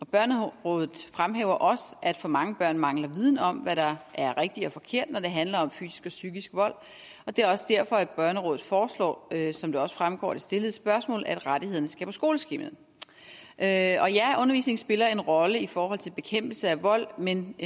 børnerådet fremhæver også at for mange børn mangler viden om hvad der er rigtigt og forkert når det handler om fysisk og psykisk vold og det er også derfor børnerådet foreslår som det også fremgår af det stillede spørgsmål at rettighederne skal på skoleskemaet ja undervisning spiller en rolle i forhold til bekæmpelse af vold men